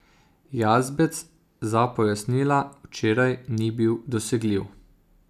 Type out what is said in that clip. Jazbec za pojasnila včeraj ni bil dosegljiv.